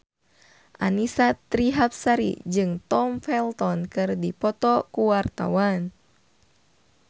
Annisa Trihapsari jeung Tom Felton keur dipoto ku wartawan